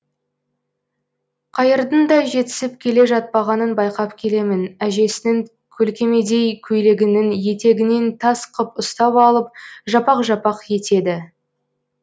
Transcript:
қайырдың да жетісіп келе жатпағанын байқап келемін әжесінің көлкемедей көйлегінің етегінен тас қып ұстап алып жапақ жапақ етеді